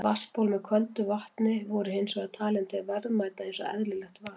Vatnsból með köldu vatni voru hins vegar talin til verðmæta eins og eðlilegt var.